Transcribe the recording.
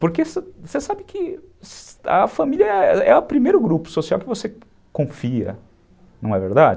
Porque você sabe que a família é o primeiro grupo social que você confia, não é verdade?